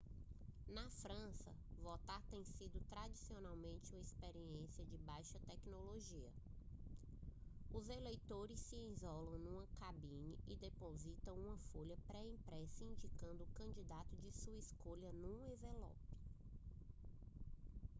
na frança votar tem sido tradicionalmente uma experiência de baixa tecnologia os eleitores se isolam numa cabine e depositam uma folha pré-impressa indicando o candidato de sua escolha num envelope